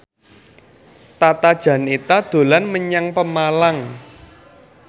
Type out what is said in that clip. Tata Janeta dolan menyang Pemalang